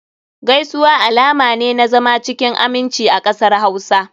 Gaisuwa alama ne na zama cikin aminci a kasar Hausa.